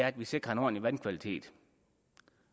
at vi sikrer en ordentlig vandkvalitet